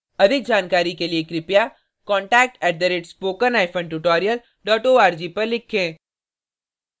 अधिक जानकारी के लिए contact @spokentutorial org पर लिखें